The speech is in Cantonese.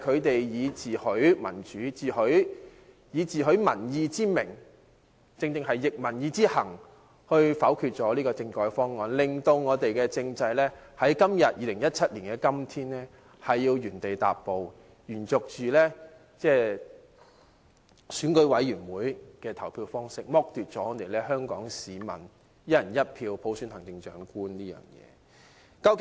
他們自詡民主、尊重民意，但卻拂逆民意，否決了政改方案，令本地政制在2017年的今天仍要原地踏步，繼續實行選舉委員會的選舉方式，剝奪了香港市民以"一人一票"普選行政長官的機會。